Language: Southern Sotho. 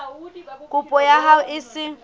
kopo ya hao e se